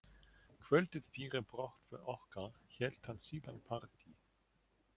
Kvöldið fyrir brottför okkar hélt hann síðan partí.